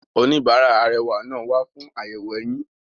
Oníbàárà arẹwà náà wa fún àyẹ̀wò eyín.